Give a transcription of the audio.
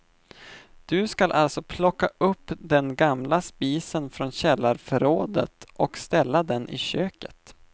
Du ska alltså plocka upp den gamla spisen från källarförrådet och ställa den i köket.